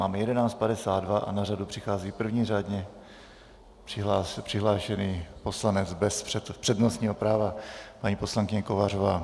Máme 11.52 a na řadu přichází první řádně přihlášený poslanec bez přednostního práva, paní poslankyně Kovářová.